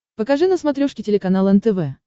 покажи на смотрешке телеканал нтв